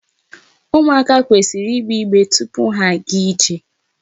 Ụmụaka kwesịrị igbe igbere tupu ha agaa ije.